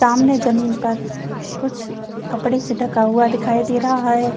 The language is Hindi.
सामने जमीन पर कुछ कपड़े से ढका हुआ दिखाई दे रहा है।